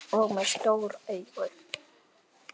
Og með svona stór augu.